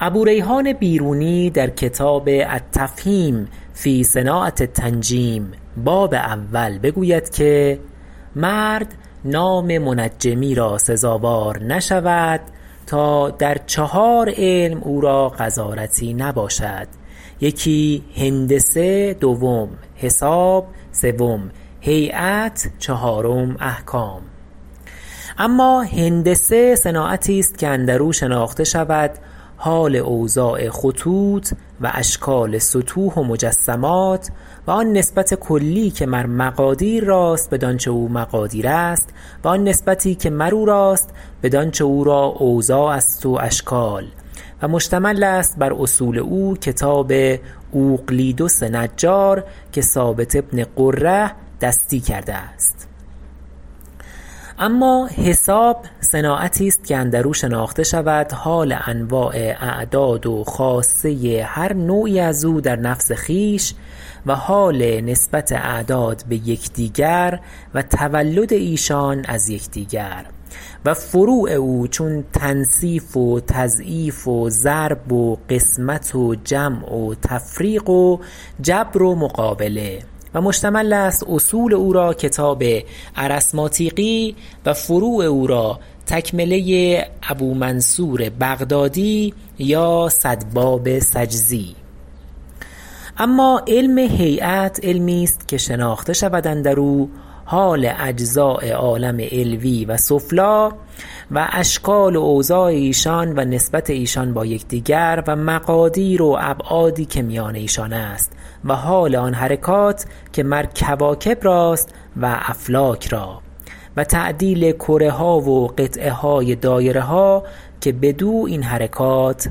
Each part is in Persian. ابوریحان بیرونی در کتاب التفهیم فی صناعة التنجیم باب اول بگوید که مرد نام منجمی را سزاوار نشود تا در چهار علم او را غزارتی نباشد یکی هندسه دوم حساب سوم هیأت چهارم احکام اما هندسه صناعتی است که اندرو شناخته شود حال اوضاع خطوط و اشکال سطوح و مجسمات و آن نسبت کلی که مر مقادیر راست بدانچه او مقادیر است و آن نسبتی که مرو راست بدانچه او را اوضاع است و اشکال و مشتمل است بر اصول او کتاب اوقلیدس نجار که ثابت بن قره دستی کرده است اما حساب صناعتی است که اندرو شناخته شود حال انواع اعداد و خاصه هر نوعی ازو در نفس خویش و حال نسبت اعداد بیکدیگر و تولد ایشان از یکدیگر و فروع او چون تنصیف و تضعیف و ضرب و قسمت و جمع و تفریق و جبر و مقابله و مشتمل است اصول او را کتاب ارثماطیقی و فروع او را تکمله ابومنصور بغدادی یا صد باب سجزی اما علم هیأت علمی است که شناخته شود اندرو حال اجزاء عالم علوی و سفلی و اشکال و اوضاع ایشان و نسبت ایشان با یکدیگر و مقادیر و ابعادی که میان ایشان است و حال آن حرکات که مر کواکب راست و افلاک را و تعدیل کره ها و قطعه های دایره ها که بدو ایں حرکات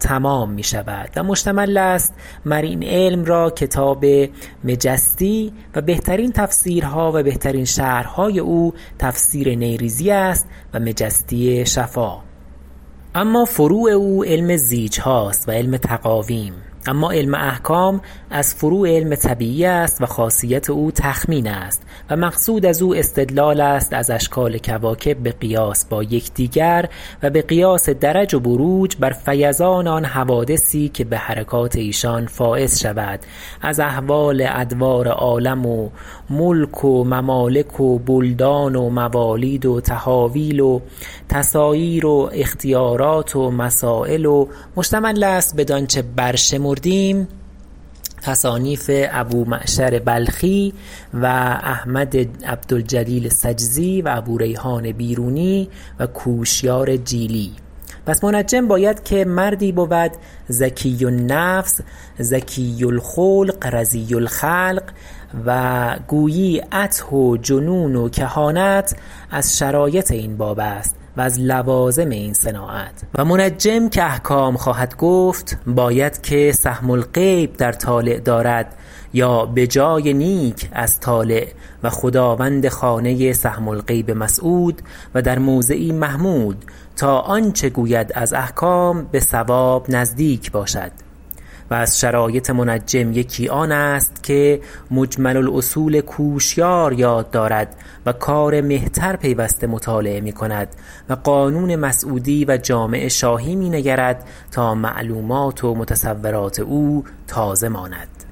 تمام میشود و مشتمل است مر این علم را کتاب مجسطی و بهترین تفسیرها و بهترین شرحهای او تفسیر نیریزی است و مجسطی شفا اما فروع این علم علم زیجهاست و علم تقاویم اما علم احکام از فروع علم طبیعی است و خاصیت او تخمین است و مقصود ازو استدلال است از اشکال کواکب بقیاس با یکدیگر و بقیاس درج و بروج بر فیضان آن حوادثی که بحرکات ایشان فایض شود از احوال ادوار عالم و ملک و ممالک و بلدان و موالید و تحاویل و تساییر و اختیارات و مسایل و مشتمل است بدانچه برشمردیم تصانیف ابومعشر بلخی و احمد عبدالجلیل سجزی و ابوریحان بیرونی و کوشیار جیلی پس منجم باید که مردی بود زکی النفس زکی الخلق رضی الخلق و گویی عته و جنون و کهانت از شرایط این باب است و از لوازم این صناعت و منجم که احکام خواهد گفت باید که سهم الغیب در طالع دارد یا بجای نیک از طالع و خداوند خانه سهم الغیب مسعود و در موضعی محمود تا آنچه گوید از احکام بصواب نزدیک باشد و از شرایط منجم یکی آن است که مجمل الأصول کوشیار یاد دارد و کار مهتر پیوسته مطالعه میکند و قانون مسعودی و جامع شاهی می نگرد تا معلومات و متصورات او تازه ماند